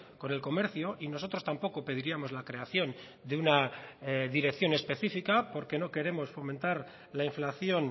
con el comercio y nosotros tampoco pediríamos la creación de una dirección específica porque no queremos fomentar la inflación